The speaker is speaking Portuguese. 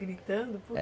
Gritando?